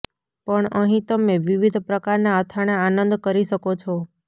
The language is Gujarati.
પણ અહીં તમે વિવિધ પ્રકારના અથાણાં આનંદ કરી શકો છો